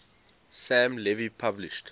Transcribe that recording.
sam levy published